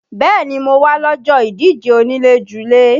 Bẹ́ẹ̀ni mo wá lọ́jọ́ ìdíje onílé-julé